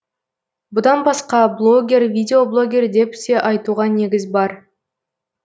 бұдан басқа блогер видеоблогер деп те айтуға негіз бар